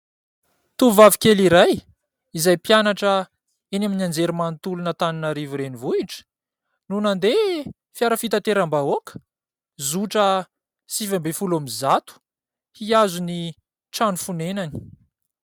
Tovovavy kely iray izay mpianatra eny amin'ny anjery manontolon'Antananarivo renivohitra no nandeha fiara fitateram-bahoaka zotra sivy ambin'ny folo amin'ny zato hiazo ny trano fonenany.